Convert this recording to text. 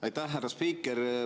Aitäh, härra spiiker!